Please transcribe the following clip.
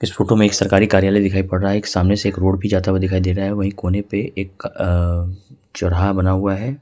इस फोटो में एक सरकारी कार्यालय दिखाई पड़ रहा है एक सामने से एक रोड भी जाता हुआ दिखाई दे रहा है वहीं कोने पे एक अ चौराहा बना हुआ है।